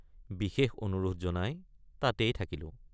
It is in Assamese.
বিশেষ অনুৰোধ জনাই তাতেই থাকিলোঁ।